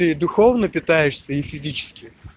ты духовно питаешься и физически